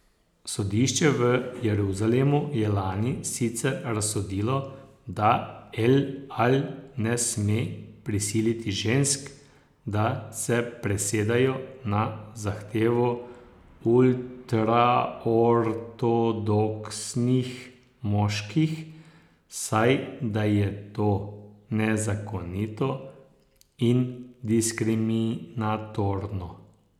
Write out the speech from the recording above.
Sodišče v Jeruzalemu je lani sicer razsodilo, da El Al ne sme prisiliti žensk, da se presedejo na zahtevo ultraortodoksnih moških, saj da je to nezakonito in diskriminatorno.